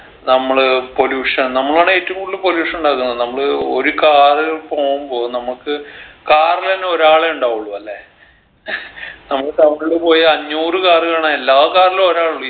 നമ്മള് pollution നമ്മളാണ് ഏറ്റവും കൂടുതൽ pollution ഉണ്ടാക്കുന്നത് നമ്മള് ഒരു car പോകുമ്പോ നമ്മക്ക് car ലെന്നെ ഒരാളെ ഉണ്ടാവുള്ളു അല്ലേ നമ്മള് town ല് പോയ അഞ്ഞൂറ് car കാണാ എല്ലാ car ലും ഒരാലുള്ളു